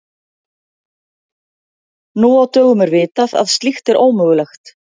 Nú á dögum er vitað að slíkt er ómögulegt.